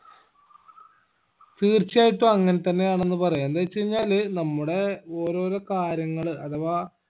തീർച്ചയായിട്ടും അങ്ങനെത്തന്നെ ആണെന്ന് പറയാ എന്തെച്ചഴിഞ്ഞാല് നമ്മുടെ ഓരോരോ കാര്യങ്ങള് അഥവാ